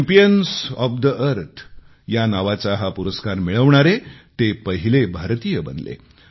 champions of the Earth नावाचा हा पुरस्कार मिळविणारे ते पहिले भारतीय बनले